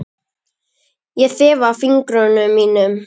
Ég þefa af fingrum mínum.